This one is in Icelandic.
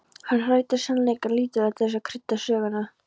Hann hagræddi sannleikanum lítillega til þess að krydda söguna.